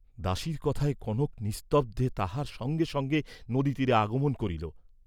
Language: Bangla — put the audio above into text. দাসীর কথায় কনক নিস্তদ্ধে তাহার সঙ্গে সঙ্গে নদীতীরে আগমন করিল।